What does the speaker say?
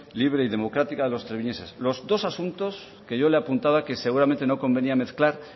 libre y democrática de los treviñeses los dos asuntos que yo le apuntaba que seguramente no convenía mezclar